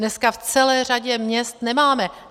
Dneska v celé řadě měst nemáme.